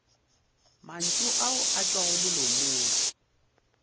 mantšu ao a tšwago molomong